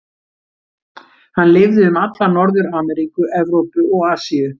Hann lifði um alla Norður-Ameríku, Evrópu og Asíu.